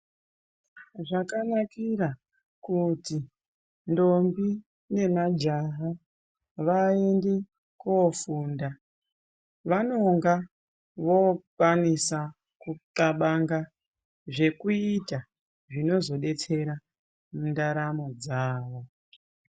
Zvakanakira kuti ndombi nemajaha vaende kofunda vanonga vokwanisa kuqxabanga zvekuita zvinozodetsera mundaramo dzao.